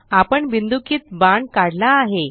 आपण बिन्दुकित बाण काढला आहे